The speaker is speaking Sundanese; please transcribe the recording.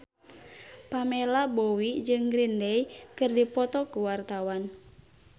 Pamela Bowie jeung Green Day keur dipoto ku wartawan